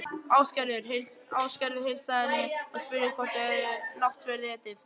Ásgerður heilsaði henni og spurði hvort þau hefði náttverð etið.